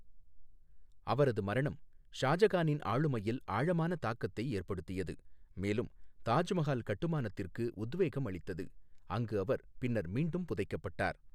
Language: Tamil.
அவரது மரணம் ஷாஜகானின் ஆளுமையில் ஆழமான தாக்கத்தை ஏற்படுத்தியது, மேலும் தாஜ்மஹால் கட்டுமானத்திற்கு உத்வேகம் அளித்தது, அங்கு அவர் பின்னர் மீண்டும் புதைக்கப்பட்டார்.